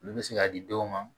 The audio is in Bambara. Olu bɛ se ka di dɔw ma